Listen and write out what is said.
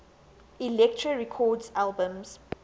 elektra records albums